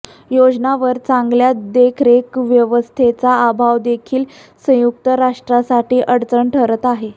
योजनांवर चांगल्या देखरेख व्यवस्थेचा अभाव देखील संयुक्त राष्ट्रासाठी अडचण ठरत आहे